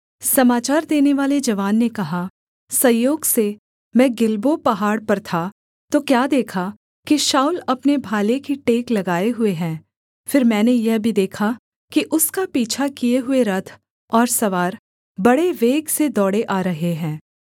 समाचार देनेवाले जवान ने कहा संयोग से मैं गिलबो पहाड़ पर था तो क्या देखा कि शाऊल अपने भाले की टेक लगाए हुए है फिर मैंने यह भी देखा कि उसका पीछा किए हुए रथ और सवार बड़े वेग से दौड़े आ रहे हैं